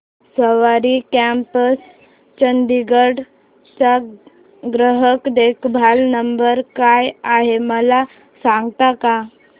सवारी cabs Chandigarh चा ग्राहक देखभाल नंबर काय आहे मला सांगता का